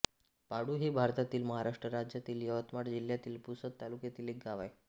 पाळू हे भारतातील महाराष्ट्र राज्यातील यवतमाळ जिल्ह्यातील पुसद तालुक्यातील एक गाव आहे